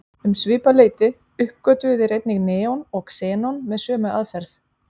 Um svipað leyti uppgötvuðu þeir einnig neon og xenon með sömu aðferð.